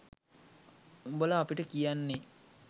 උඹල අපිට කියන්නේ